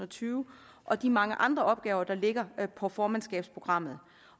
tyve og de mange andre opgaver der er på formandskabsprogrammet